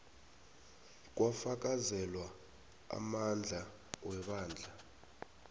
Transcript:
kwafakazelwa amandla webandla